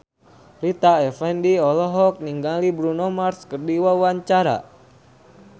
Rita Effendy olohok ningali Bruno Mars keur diwawancara